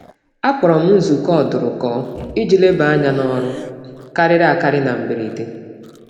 M rịọrọ maka nzukọ ngwa ngwa iji kparịta mmụba ọrụ na mberede.